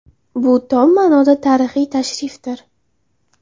Bu, tom ma’noda, tarixiy tashrifdir.